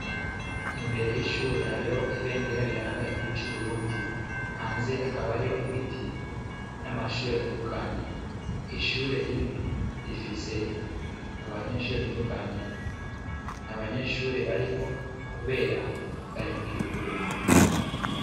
Imbere y'ishure hariyo ibendera riranga igihugu c'Uburundi, hanze hakaba hariyo ibiti n'amashure atandukanye, ishure rimwe rifise abanyeshure batandukanye, ntabanyeshure bariho kubera bari mu kiruhuko.